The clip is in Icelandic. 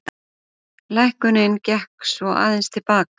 Lækkunin gekk svo aðeins til baka